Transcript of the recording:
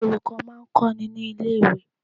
Àwọn olùkọ́ má a ń kó ni ní lé ìwé